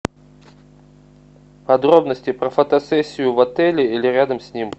подробности про фотосессию в отеле или рядом с ним